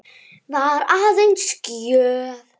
Var aðeins gjöf.